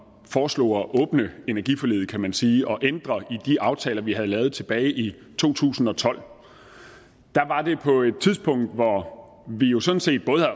foreslog at åbne energiforliget kan man sige og ændre i de aftaler vi havde lavet tilbage i to tusind og tolv var det på et tidspunkt hvor vi jo sådan set